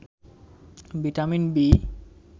vitamin B